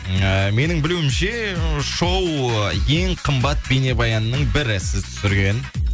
ыыы менің білуімше ы шоу ең қымбат бейнебаянның бірі сіз түсірген